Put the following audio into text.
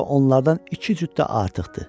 Hətta onlardan iki cüt də artıqdır.